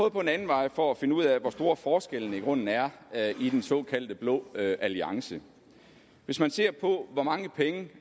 at gå en anden vej for at finde ud af hvor store forskelle der i grunden er er i den såkaldte blå alliance hvis man ser på hvor mange penge